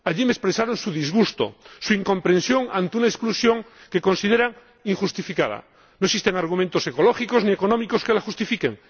Allí me expresaron su disgusto, su incomprensión ante una exclusión que consideran injustificada no existen argumentos ecológicos ni económicos que la justifiquen